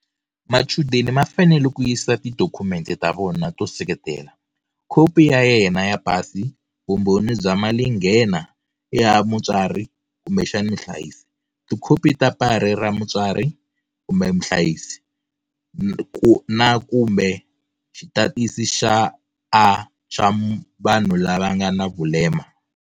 Machudeni ma fanele ku yisa tidokhumente ta vona to seketela, khopi ya yena ya pasi, vumbhoni bya malinghena ya mutswari kumbexana muhlayisi, tikhopi ta pari ra mutswari kumbe muhlayisi, na kumbe Xitatisi xa A xa vanhu lava nga na vulema.